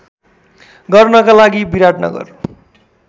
गर्नका लागि विराटनगर